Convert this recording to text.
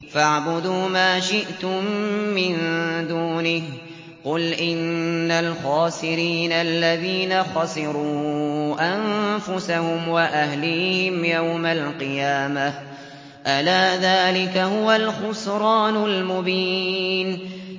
فَاعْبُدُوا مَا شِئْتُم مِّن دُونِهِ ۗ قُلْ إِنَّ الْخَاسِرِينَ الَّذِينَ خَسِرُوا أَنفُسَهُمْ وَأَهْلِيهِمْ يَوْمَ الْقِيَامَةِ ۗ أَلَا ذَٰلِكَ هُوَ الْخُسْرَانُ الْمُبِينُ